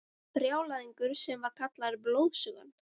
Brjálæðingur sem var kallaður Blóðsugan.